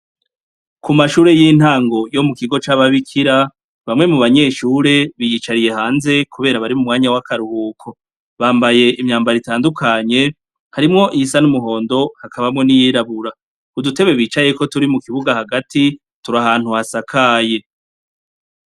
K'umashure y'intango yo mukigo c'ababikira ,bamwe mubanyeshure biyicariye hanze, kubera bari mumwanya w'akaruhuko. Bambaye imyambaro itandukanye ,harimwo iyisa n'umuhondo ,hakabamwo n'iyirabura. Udutebe bicayeko turi mukibuga hagati turi ahantu hasakaye.